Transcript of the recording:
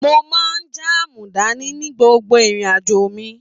Mo máa jaamu dání ní gbogbo irin-ajo mi.